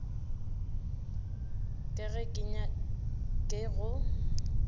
ka ga ke nyake go